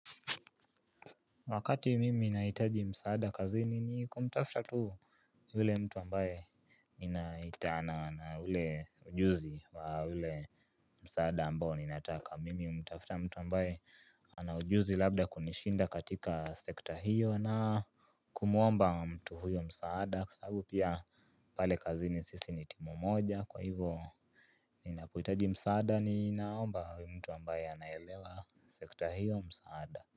Wakati mimi nahitaji msaada kazini ni kumtafuta tu yule mtu ambaye ninaitana na ule ujuzi wa ule msaada ambao ninataka na mimi humtafuta mtu ambaye ana ujuzi labda kunishinda katika sekta hii kumuomba mtu huyu msaada kwa sababu pia pale kazini sisi ni timu moja kwa hivo ninapohitaji msaada ni naomba mtu ambaye anaelewa sekta hiyo msaada.